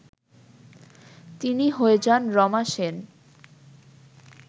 তিনি হয়ে যান রমা সেন